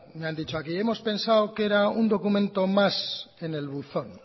me han dicho aquí hemos pensado que era un documento más en el buzón